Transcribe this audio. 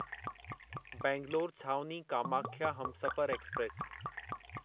बैंगलोर छावनी कामाख्या हमसफ़र एक्सप्रेस